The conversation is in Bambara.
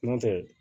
Nɔntɛ